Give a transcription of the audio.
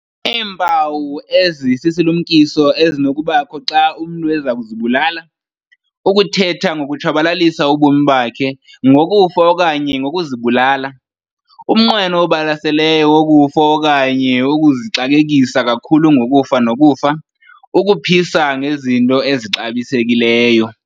Iimpawu ezisisilumkiso ezinokubakho xa umntu ezakuzibulala- Ukuthetha ngokutshabalalisa ubomi bakhe, ngokufa okanye ngokuzibulala. Umnqweno obalaseleyo wokufa okanye ukuzixakekisa kakhulu ngokufa nokufa. Ukuphisa ngezinto ezixabisekileyo.